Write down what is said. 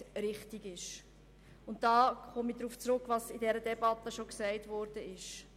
Dabei komme ich darauf zurück, was in der Debatte bereits gesagt worden ist.